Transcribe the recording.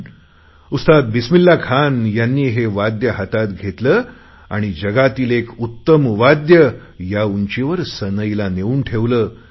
पण उस्ताद बिसिमिल्ला खान यांनी हे वाद्य हातात घेतले आणि जगातील एक उत्तम वाद्य या उंचीवर सनईला नेऊन ठेवले